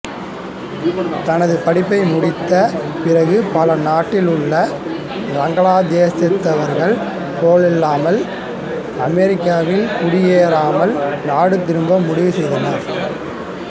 தனது படிப்பை முடித்த பிறகு பல வெளிநாட்டிலுள்ள வங்களாதேசத்தவர்களைப் போலல்லாமல் அமெரிக்காவில் குடியேறாமல் நாடு திரும்ப முடிவு செய்தார்